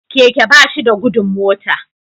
Keke bashida gudun mota